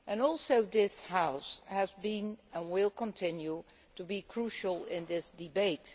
Also this House has been and will continue to be crucial in this debate.